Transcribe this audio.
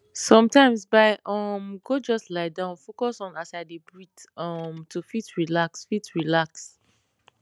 sometimes bai um go just lie down focus on as i dey breathe um to fit relax fit relax